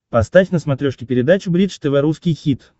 поставь на смотрешке передачу бридж тв русский хит